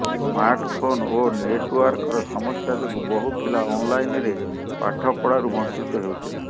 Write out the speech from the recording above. smart phone ଓ ନେଟୱାର୍କର ସମସ୍ୟା ଯୋଗୁଁ ବହୁ ପିଲା ଅନ ଲାଇନରେ ପାଠପଢାରୁ ବଞ୍ଚିତ ହେଉଥିଲେ